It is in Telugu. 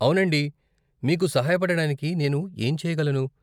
అవునండి. మీకు సహాయపడడానికి నేను ఏం చేయగలను?